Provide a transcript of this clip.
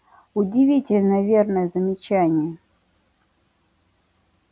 удивительно верное замечание